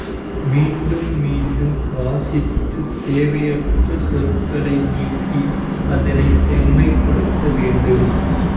மீண்டும் மீண்டும் வாசித்து தேவையற்ற சொற்களை நீக்கி அதனைச் செம்மைப்படுத்த வேண்டும்